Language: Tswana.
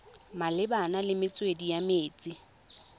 malebana le metswedi ya metsi